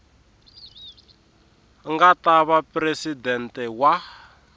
nga ta va presidente wa